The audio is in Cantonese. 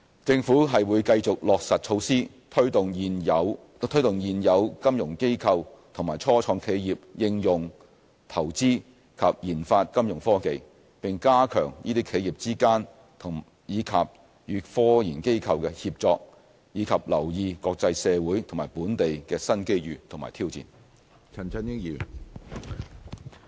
政府會繼續落實措施，推動現有金融機構及初創企業應用、投資及研發金融科技，並加強這些企業之間，以及與科研機構的協作，以及留意國際社會和本地的新機遇及挑戰。